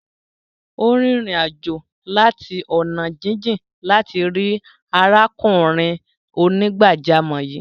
Ó rìn ìrìn-àjò láti ọ̀nà jíjìn láti rí arákùnrin onígbàjámọ̀ yìí.